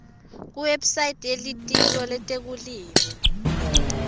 kuwebsite yelitiko letekulima